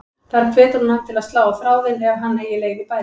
Þar hvetur hún hann til að slá á þráðinn ef hann eigi leið í bæinn.